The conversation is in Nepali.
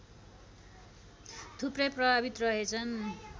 थुप्रै प्रभावित रहेछन्